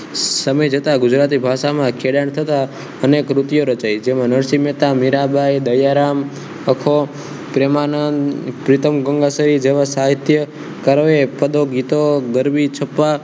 સમય જતા ગુજરાતી ભાષામાં ખેડાણ થતા અને કૃતિઓ રચાય જેમાં અને નરસિંહ મહેતા મીરાબાઈ દયારામ અખો પ્રેમાનંદ પ્રીતમગંગાસહી જેવા સાહિત્યકારોએ પદો ગીતો ગરવી છપ્પા